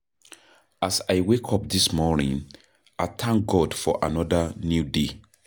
As I wake up this morning, I thank God for another new day.